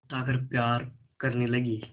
उठाकर प्यार करने लगी